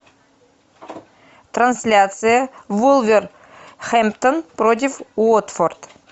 трансляция вулверхэмптон против уотфорд